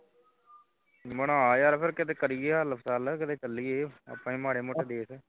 ਬਣਾ ਯਾਰ ਛੇਰ ਕਿੱਥੇ ਕਰੀਏ ਹਲਚਲ ਕਿੱਥੇ ਚਲੀਏ ਆਪਾਂ ਵੀ ਕਿਸੇ ਮਾੜੇ ਮੋਟੇ ਦੇਸ਼